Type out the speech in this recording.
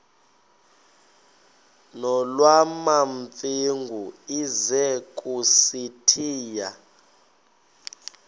nolwamamfengu ize kusitiya